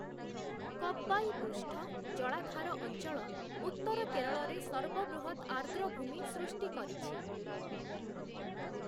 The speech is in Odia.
କବ୍ବାୟୀ ପୃଷ୍ଠ-ଜଳାଧାର ଅଞ୍ଚଳ ଉତ୍ତର କେରଳରେ ସର୍ବବୃହତ୍ ଆର୍ଦ୍ରଭୂମି ସୃଷ୍ଟି କରିଛି ।